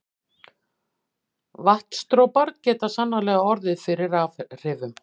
Vatnsdropar geta sannarlega orðið fyrir rafhrifum.